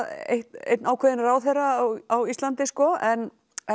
einn einn ákveðinn ráðherra á Íslandi en en